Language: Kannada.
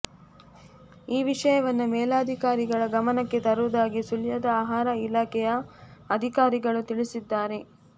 ಈ ವಿಷಯವನ್ನು ಮೇಲಧಿಕಾರಿಗಳ ಗಮನಕ್ಕೆ ತರುವುದಾಗಿ ಸುಳ್ಯದ ಆಹಾರ ಇಲಾಖೆಯ ಅಧಿಕಾರಿಗಳು ತಿಳಿಸಿದ್ದಾರೆ